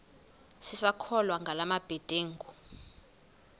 sisakholwa ngala mabedengu